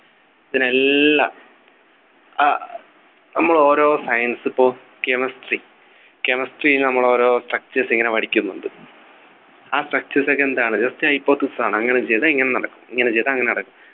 പിന്നെ എല്ലാം അഹ് നമ്മൾ ഓരോ science പ്പോ chemistry Chemistry നമ്മൾ ഓരോ Structures ഇങ്ങനെ പഠിക്കുന്നുണ്ട് ആ Structures ഒക്കെ എന്താണ് just hypothesis ആണ് അങ്ങനെ ചെയ്താൽ ഇങ്ങനെ നടക്കും ഇങ്ങനെ ചെയ്താൽ അങ്ങനെ നടക്കും